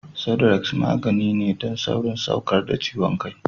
Sudrex magani ne don saurin saukar da ciwon kai.